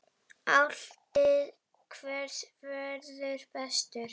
Álitið: Hver verður bestur?